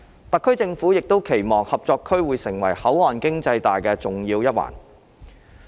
特區政府亦期望合作區會成為口岸經濟帶的重要一環。